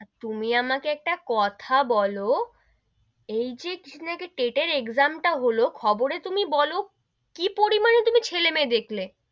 তুমি আমাকে একটা কথা বোলো, এই যে এ টেটের exam টা হলো, খবরে তুমি বোলো, কি পরিমানে তুমি ছেলে মেই দেখলে,